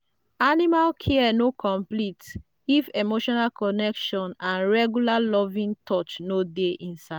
animal care no complete if emotional connection and regular loving touch no dey inside.